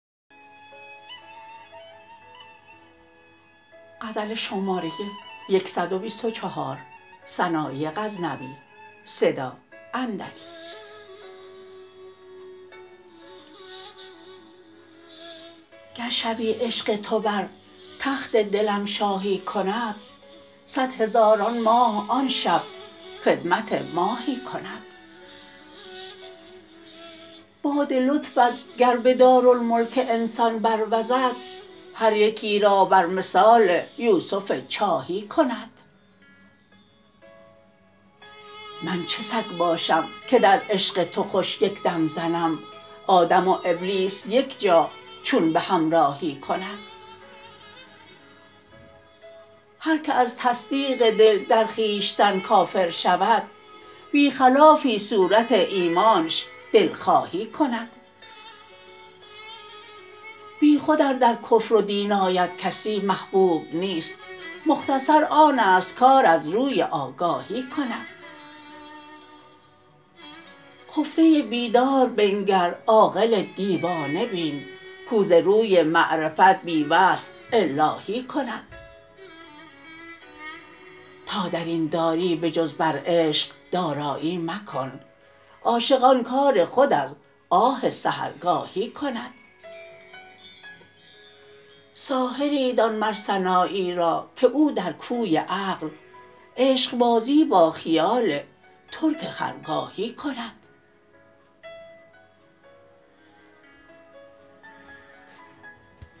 گر شبی عشق تو بر تخت دلم شاهی کند صدهزاران ماه آن شب خدمت ماهی کند باد لطفت گر به دارالملک انسان بروزد هر یکی را بر مثال یوسف چاهی کند من چه سگ باشم که در عشق تو خوش یک دم زنم آدم و ابلیس یک جا چون به همراهی کند هر که از تصدیق دل در خویشتن کافر شود بی خلافی صورت ایمانش دلخواهی کند بی خود ار در کفر و دین آید کسی محبوب نیست مختصر آنست کار از روی آگاهی کند خفته بیدار بنگر عاقل دیوانه بین کو ز روی معرفت بی وصل الاهی کند تا درین داری به جز بر عشق دارایی مکن عاشق آن کار خود از آه سحرگاهی کند ساحری دان مر سنایی را که او در کوی عقل عشقبازی با خیال ترک خرگاهی کند